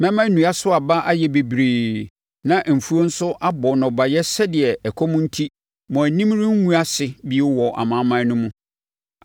Mɛma nnua so aba ayɛ bebree na mfuo nso abɔ nnɔbaeɛ sɛdeɛ ɛkɔm enti mo anim rengu ase bio wɔ amanaman no mu.